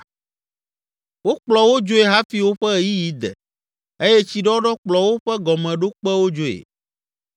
Wokplɔ wo dzoe hafi woƒe ɣeyiɣi de eye tsiɖɔɖɔ kplɔ woƒe gɔmeɖokpewo dzoe.